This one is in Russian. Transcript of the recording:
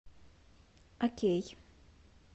окей